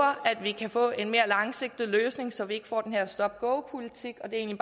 at vi kan få en mere langsigtet løsning så vi ikke får den her stop and go politik og det er